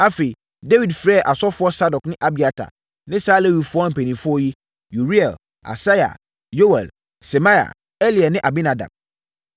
Afei, Dawid frɛɛ asɔfoɔ Sadok ne Abiatar ne saa Lewifoɔ mpanimfoɔ yi: Uriel, Asaia, Yoɛl, Semaia, Eliel ne Aminadab.